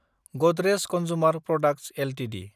Godrej consumer products Ltd